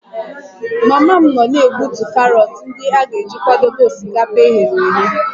Mama m nọ na-egbutu karọt ndị a ga-eji kwadebe osikapa e ghere eghe